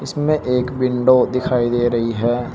इसमें एक विंडो दिखाई दे रही है।